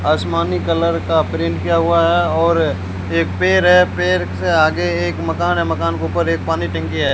आसमानी कलर का प्रिंट किया हुआ है और एक पेर है पेर से आगे एक मकान है मकान के ऊपर एक पानी टंकी है।